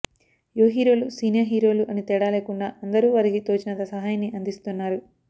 యువ హీరోలు సీనియర్ హీరోలు అని తేడా లేకుండా అందరూ వారికీ తోచినంత సహాయాన్ని అందిస్తున్నారు